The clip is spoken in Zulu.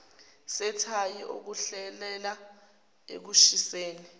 sethayi okuholela ekushiseni